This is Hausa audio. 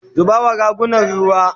zuba wa ragunan ruwa!